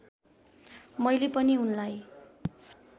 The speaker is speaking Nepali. मैले पनि उनलाई